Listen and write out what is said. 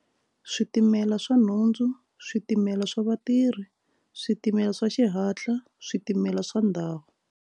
Switimela swa nhundzu switimela swa vatirhi switimela swa xihatla switimela swa ndhawu.